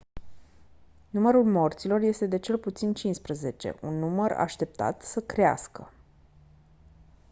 numărul morților este de cel puțin 15 un număr așteaptat să crească